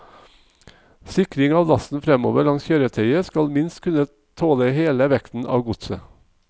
Sikring av lasten fremover langs kjøretøyet skal minst kunne tåle hele vekten av godset.